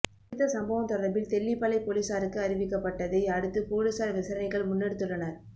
குறித்த சம்பவம் தொடர்பில் தெல்லிப்பளை பொலிஸாருக்கு அறிவிக்க ப்பட்டத்தை அடுத்து பொலிஸார் விசாரணைகளை முன்னெடுத்துள்ளனர்